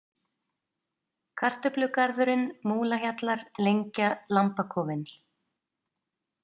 Kartöflugarðurinn, Múlahjallar, Lengja, Lambakofinn